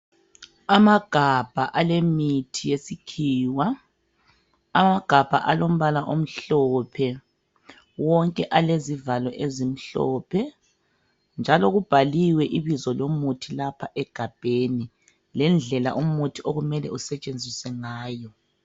Amagabha alemithi yesikhiwa. Amagabha alombala omhlophe, wonke alezivalo ezimhlophe. Njalo kubhaliwe ibizo lomuthi lapha egabheni lendlela umuthi okumele usetshenziswe ngayo.